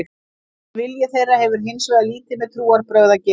Þessi vilji þeirra hefur hins vegar lítið með trúarbrögð að gera.